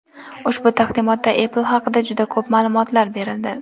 Ushbu taqdimotda Apple haqida juda ko‘p ma’lumot berildi.